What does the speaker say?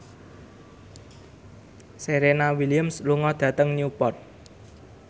Serena Williams lunga dhateng Newport